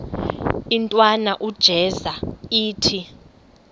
intwana unjeza ithi